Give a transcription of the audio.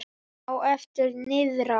Á eftir niðrá